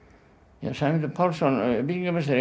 já Sæmundur Pálsson byggingameistari